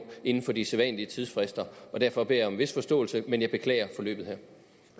inden for de sædvanlige tidsfrister og derfor beder jeg om en vis forståelse men jeg beklager forløbet